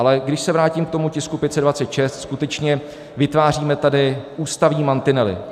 Ale když se vrátím k tomu tisku 526, skutečně vytváříme tady ústavní mantinely.